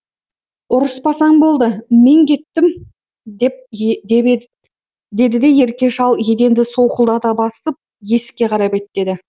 ұрыспасаң болды мен кеттім деді де ерке шал еденді солқылдата басып есікке қарай беттеді